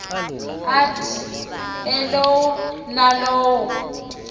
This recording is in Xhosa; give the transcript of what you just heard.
athi elowo nalowo